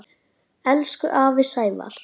Elsku afi Sævar.